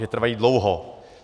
Že trvají dlouho.